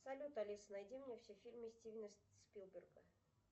салют алиса найди мне все фильмы стивена спилберга